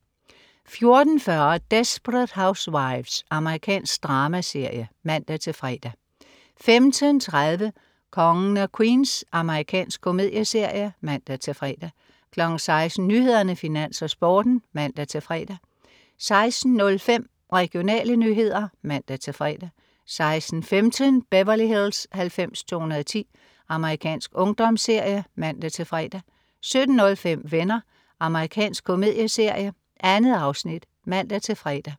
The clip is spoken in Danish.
14.40 Desperate Housewives. Amerikansk dramaserie (man-fre) 15.30 Kongen af Queens. Amerikansk komedieserie (man-fre) 16.00 Nyhederne, Finans, Sporten (man-fre) 16.05 Regionale nyheder (man-fre) 16.15 Beverly Hills 90210. Amerikansk ungdomsserie (man-fre) 17.05 Venner. Amerikansk komedieserie. 2 afsnit (man-fre)